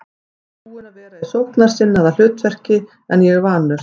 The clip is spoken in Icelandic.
Ég er búinn að vera í sóknarsinnaðra hlutverki en ég er vanur.